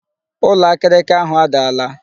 Ụlọ akịrịka ahụ adaala